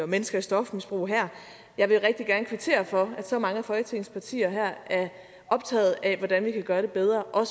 mennesker i stofmisbrug her jeg vil rigtig gerne kvittere for at så mange af folketingets partier her er optaget af hvordan vi kan gøre det bedre og